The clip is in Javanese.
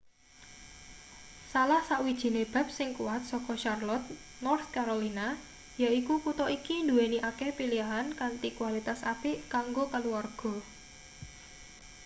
salah sawijine bab sing kuwat saka charlotte north carolina yaiku kutha iki nduweni akeh pilihan kanthi kualitas-apik kanggo kaluwarga